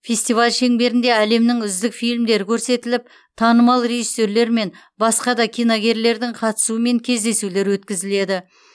фестиваль шеңберінде әлемнің үздік фильмдері көрсетіліп танымал режиссерлер мен басқа да киногерлердің қатысуымен кездесулер өткізіледі